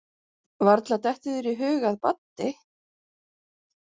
Varla dettur þér í hug að Baddi.